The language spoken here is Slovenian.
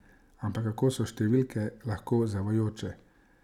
Ampak kako so številke lahko zavajajoče!